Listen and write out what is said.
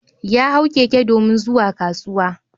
Ya hau keke domin zuwa kasuwa.